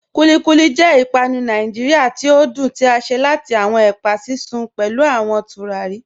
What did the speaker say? Kúlíkúlí jẹ̀ ìpànù Nàìjíríà tí o dún tí a ṣe láti awọn ẹpa sísun pẹ̀lú awọn tùràrí.